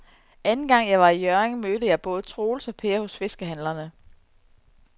Anden gang jeg var i Hjørring, mødte jeg både Troels og Per hos fiskehandlerne.